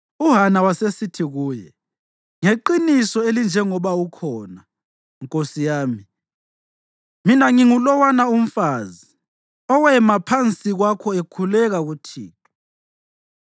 uHana wasesithi kuye, “Ngeqiniso elinjengoba ukhona, nkosi yami, mina ngingulowana umfazi owema phansi kwakho ekhuleka kuThixo.